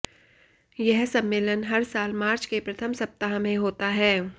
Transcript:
यह सम्मेलन हर साल मार्च के प्रथम सप्ताह में होता है